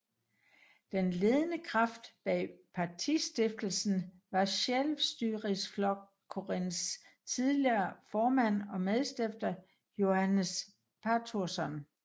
Den ledende kraft bag partistiftelsen var Sjálvstýrisflokkurins tidligere formand og medstifter Jóannes Patursson